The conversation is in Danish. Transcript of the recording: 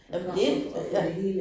Jo det, ja